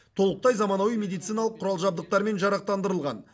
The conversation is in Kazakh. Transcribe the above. толықтай заманауи медициналық құрал жабдықтармен жарақтандырылған